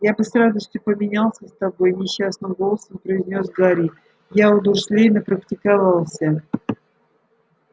я бы с радостью поменялся с тобой несчастным голосом произнёс гарри я у дурслей напрактиковался